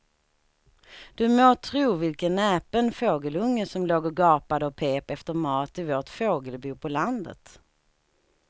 Du må tro vilken näpen fågelunge som låg och gapade och pep efter mat i vårt fågelbo på landet.